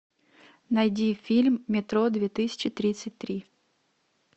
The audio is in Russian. найди фильм метро две тысячи тридцать три